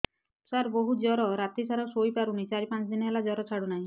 ସାର ବହୁତ ଜର ରାତି ସାରା ଶୋଇପାରୁନି ଚାରି ପାଞ୍ଚ ଦିନ ହେଲା ଜର ଛାଡ଼ୁ ନାହିଁ